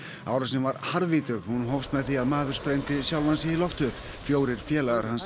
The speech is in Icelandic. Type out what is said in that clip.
árásin var harðvítug en hún hófst með því að maður sprengdi sjálfan sig í loft upp fjórir félagar hans